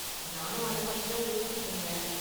நானும் அத பத்திதான் யோசிச்சுட்டு இருந்தேன்.